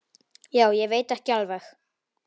Já, ég veit ekki alveg.